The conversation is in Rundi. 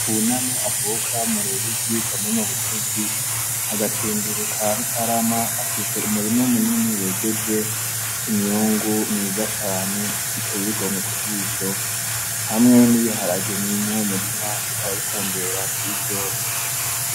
Buname avuka mu Ruyigi komine Mutesi mu gacimbiri ka Mutarama afise umurima mu nini wejeje imyungu mwiza cane iteye igomwe ku gisho hamwe n'ibiharage biri muri uwo murima bikaba bitondera kwivyo.